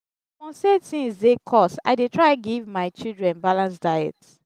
upon sey tins dey cost i dey try give my children balance diet.